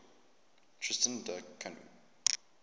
tristan da cunha